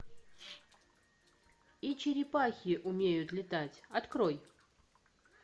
и черепахи умеют летать открой